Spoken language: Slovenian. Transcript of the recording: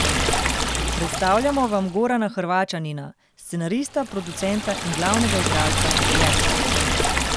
Predstavljamo vam Gorana Hrvaćanina, scenarista, producenta in glavnega igralca, Jerča.